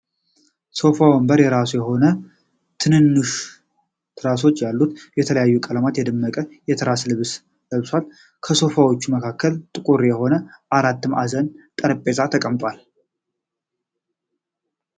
ሶፋ ወንበር የራሱ የሆነ ትናንሽ ትራሶችን ያሉት በተለያዩ ቀለማት የደመቀ የትራስ ልብስ ለብሷል። ከሶፋዎች መካከል ጠቁር የሆነ አራት ማዕዘን ጠረጴዛ ተቀምጧል።